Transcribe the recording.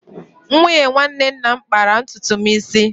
Nwunye nwanne nna m kpara ntutu m isi.